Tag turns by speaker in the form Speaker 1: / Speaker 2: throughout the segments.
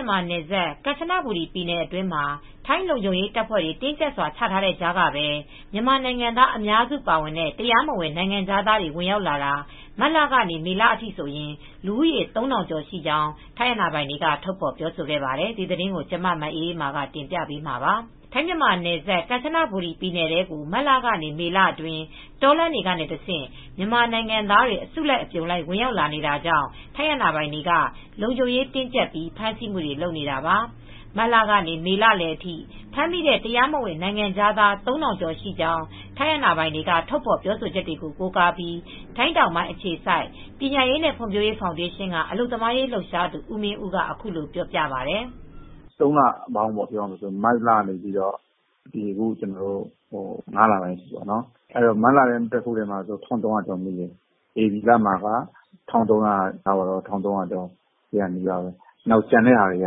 Speaker 1: န်မာနယ်စပ် ကန်ချနဘူရီပြည်နယ်အတွင်းမှာ ထိုင်းလုံခြုံရေးတပ်ဖွဲ့တွေ တင်းကျပ်စွာ ချထားတဲ့ကြားကပဲ မြန်မာနိုင်ငံသား အများစုပါတဲ့ တရားမဝင် နိုင်ငံခြားသားတွေ ဝင်ရောက်လာတာ မတ်လကနေ မေလအထိဆိုရင် လူဦးရေ ၃,၀၀၀ ကျော်ရှိကြောင်း ထိုင်းအာဏာပိုင်တွေက ထုတ်ဖော်ပြောဆိုပါတယ်။ အပြည့်အစုံကို မအေးအေးမာ တင်ပြပေးထားပါတယ်။ ထိုင်း-မြန်မာနယ်စပ် ကန်ချနဘူရီပြည်နယ်ထဲကို မတ်လကနေ မေလအတွင်း တောလမ်းတွေကနေတဆင့် မြန်မာနိုင်ငံသားတွေ အစုလိုက် အပြုံလိုက် ဝင်ရောက်လာနေတာကြောင့် ထိုင်းအာဏာပိုင်တွေက လုံခြုံရေးတင်းကျပ်ပြီး ဖမ်းဆီးမှုတွေ လုပ်နေတာပါ။ မတ်လကနေ မေလလယ်အထိ ဖမ်းမိတဲ့ တရားမဝင် နိုင်ငံခြားသား ၃,၀၀၀ ကျော်ရှိကြောင်း ထိုင်းအာဏာပိုင်တွေက ထုတ်ဖော်ပြောဆိုချက်ကို ကိုးကားပြီး ထိုင်းတောင်ပိုင်းအခြေစိုက် ပညာရေးနဲ့ ဖွံ့ဖြိုးရေးဖောင်ဒေးရှင်းက အလုပ်သမားရေး လှုပ်ရှားသူ ဦးမင်းဦးက အခုလိုပြောပါတယ်။
Speaker 2: “၃ လပေါင်းပေါ့၊ မတ်ကနေ အခု ၅ လပိုင်းအထိပေါ့၊ မတ်လထဲမှာ ၁,၃၀၀ ကျော်မိတယ်၊ ဧပြီလထဲမှာပဲ ၁,၃၀၀ ကျော် ၁,၄၀၀ နီးပါးပဲ၊ ကျန်တဲ့ဟာတွေက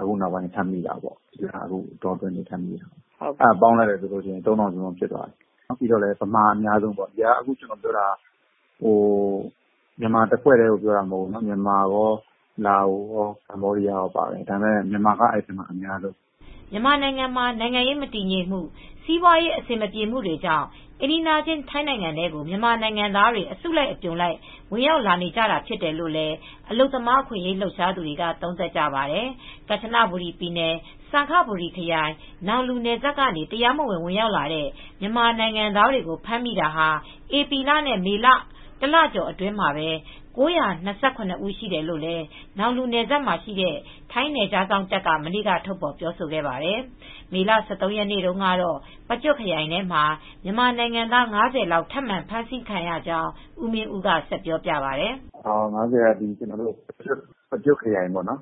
Speaker 2: အခုနောက်ပိုင်း ထပ်မိတာပေါ့၊ အဲဒါပေါင်းလိုက်ရင် ၃,၀၀၀ ကျော်တယ်။ အဲဒီထဲမှာ မြန်မာအများဆုံးပဲ။ ကျနော်ပြောတာက မြန်မာတဖွဲ့တည်းကို ပြောတာမဟုတ်ဘူး။ မြန်မာရော လာအိုရော ကမ္ဘောဒီးယားရော အားလုံးကိုပြောတာပါ၊ မြန်မာကတော့ အများဆုံးပေါ
Speaker 1: ့။” မြန်မာနိုင်ငံမှာ နိုင်ငံရေးမတည်ငြိမ်မှု၊ စီးပွားရေး အဆင်မပြေမှုတွေကြောင့် အိမ်နီးချင်း ထိုင်းနိုင်ငံထဲကို မြန်မာနို်င်ငံသားတွေ အစုလိုက်အပြုံလိုက် ဝင်ရောက်လာနေကြတာ ဖြစ်တယ်လို့လည်း အလုပ်သမား အခွင့်အရေး လှုပ်ရှားသူတွေက သုံးသပ်ကြပါတယ်။ ကန်ချနဘူရီပြည်နယ် စံခဘူရီခရိုင် နောင်လူနယ်စပ်ကနေ တရားမဝင် ဝင်ရောက်လာတဲ့ မြန်မာနို်င်ငံသားများကို ဖမ်းမိတာဟာ ဧပြီလနဲ့ မေလ တလကျော်အတွင်း လူဦးရေ ၉၂၇ ဦးရှိတယ်လို့လည်း နောင်လူနယ်စပ်မှာရှိတဲ့ ထိုင်းနယ်ခြားစောင့်တပ်က မနေ့က ထုတ်ဖော်ပြောဆိုခဲ့ပါတယ်။ မေလ ၁၃ ရက်နေ့ကတော့ ပကျွတ်ခရိုင်ထဲမှာ မြန်မာနိုင်ငံသား ၅၀ လောက် ထပ်မံဖမ်းဆီးခံရကြောင်း ဦးမင်းဦးက ဆက်ပြောပြပါတယ်။
Speaker 2: “၅၀ ကတော့ ပကျွတ်ခရိုင် တာ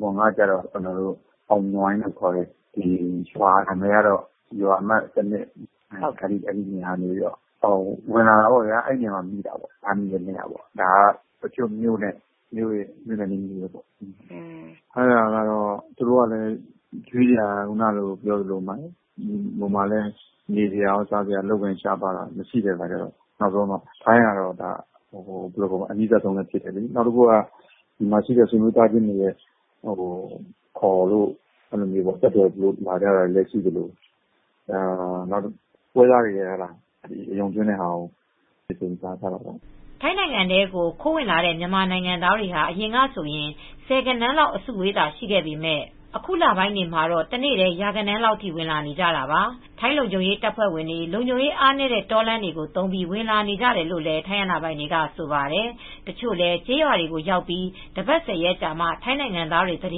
Speaker 2: ဘွန် ကတော့ အောင်နွိုင်းလို့ခေါ်တယ်။ ရွာကတော့ ရွာအမှတ် ၁၂၊ အဲဒီနေရာကနေ ဝင်လာတာပေါ့ဗျာ၊ အဲဒီနေရာမှာ မိတာပေါ့။ ဖမ်းမိတာ ဒါက ပကျွတ်မြို့နယ်၊ မြို့နဲ့နီးနီးပေါ့၊ သူတို့ကလည်း မိတာကလည်း ဟိုမှာကလည်း နေစရာ စားစရာရော အလုပ်အကိုင် ရှားပါးတာတွေ၊ အလုပ်တွေ မရှိတဲ့အခါကျတော့ ထိုင်းကလည်း အနီးဆုံးဖြစ်နေတယ်လေ။ နောက်တခုက ဒီမှာရှိတဲ့ ဆွေမျိုးသားချင်းတွေ ခေါ်လို့ ဆက်သွယ်ပြီးတော့လည်း လာကြတာမျိုး။ နောက်တခုကတော့ ပွဲစားတွေက အယုံသွင်းတာကို မိပြီး လာကြတာပေါ့။
Speaker 1: ” ထိုင်းကိုခိုးဝင်လာတဲ့ မြန်မာနိုင်ငံသားတွေဟာ အရင်ကဆိုရင် ဆယ်ဂဏန်းလောက် အစုအဝေးသာ ရှိခဲ့ပေမယ့် အခုလပိုင်းတွေမှာတော့ တနေ့တည်း ရာဂဏန်းလောက်ထိ ဝင်လာနေကြတာပါ။ ထိုင်းလုံခြုံရေးတပ်ဖွဲ့တွေ လုံခြုံရေးအားနည်းတဲ့ တောလမ်းတွေကို သုံးပြီး ဝင်နေကြတာလို့လည်း ထိုင်းအာဏာပိုင်တွေက ဆိုပါတယ်။ တချို့လည်း ကျေးရွာတွေကိုရောက်ပြီး တပတ် ၁၀ ရက်ကြာမှ ထိုင်းနိုင်ငံသားတွေက သတ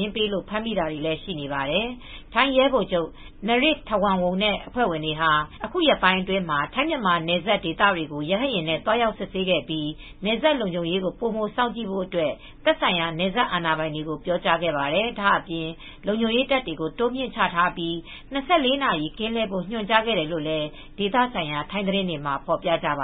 Speaker 1: င်းပေးလို့ ဖမ်းမိတာတွေလည်း ရှိနေပါတယ်။ ထိုင်းရဲဗိုလ်ချုပ် Narit Thawornwong နဲ့ အဖွဲ့ဝင်တွေဟာ အခုရက်ပိုင်းအတွင်းမှာ ထိုင်း-မြန်မာနယ်စပ်ဒေသတွေကို ရဟတ်ယာဉ်နဲ့ သွားရောက်စစ်ဆေးခဲ့ပြီး နယ်စပ်လုံခြုံရေးကို ပိုမိုစောင့်ကြည့်ဖို့အတွက် သက်ဆိုင်ရာ နယ်စပ်အာဏာပိုင်တွေကို ပြောကြားခဲ့ပါတယ်။ ဒါ့အပြင် လုံခြုံရေးတပ်တွေ တိုးမြှင့်ချထားပြီး ၂၄ နာရီ ကင်းလှည့်ဖို့ ညွှန်ကြားခဲ့တယ်လို့လည်း ဒေသဆိုင်ရာ ထိုင်းသတင်းတွေမှာ ဖော်ပြကြပါ